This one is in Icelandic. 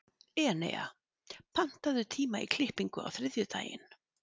Enea, pantaðu tíma í klippingu á þriðjudaginn.